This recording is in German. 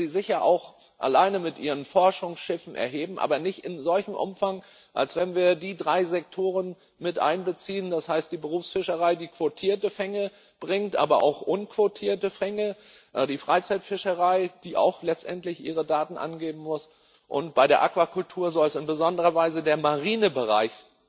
Die können sie sicher auch alleine mit ihren Forschungsschiffen erheben, aber nicht in solchem Umfang, wie wenn wir die drei Sektoren miteinbeziehen das heißt, die Berufsfischerei, die quotierte Fänge bringt, aber auch unquotierte Fänge, die Freizeitfischerei, die auch letztendlich ihre Daten angeben muss, und bei der Aquakultur soll es in besonderer Weise der Marinebereich